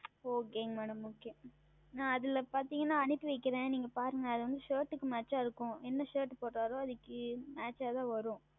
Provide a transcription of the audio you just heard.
Okay MadamOkay நான் அதில் பார்த்தீர்கள் என்றால் நான் அனுப்பி வைக்கிறேன் நீங்கள் பாருங்கள் அது வந்து Shirt க்கு Match ஆக இருக்கும் என்ன Shirt உடுத்தினாலும் அதற்கு Match ஆக தான் வரும்